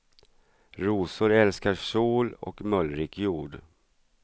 Rosor älskar sol och mullrik jord.